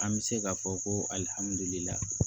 An bɛ se k'a fɔ ko alihamudulilayi